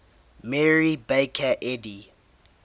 mary baker eddy